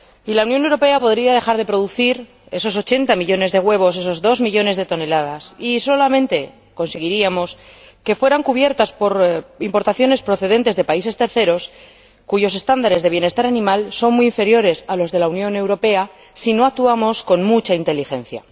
La Unión Europea podría dejar de producir esos 80 millones de huevos, esos 2 millones de toneladas, y solamente conseguiríamos que fueran cubiertas por importaciones procedentes de países terceros, cuyos estándares de bienestar animal son muy inferiores a los de la Unión Europea, si no actuamos con mucha inteligencia.